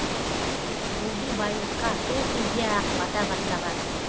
бұлди байлыққа сол кезде ақ бата бастаған